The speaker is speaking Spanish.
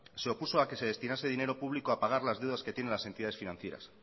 se opuso a que se destinase dinero público a pagar las deudas que tienen las entidades financieras